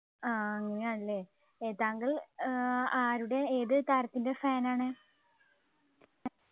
ആഹ് അങ്ങനെയല്ലേ ഏർ താങ്കൾ ഏർ ആരുടെ ഏത് താരത്തിൻ്റെ Fan ആണ്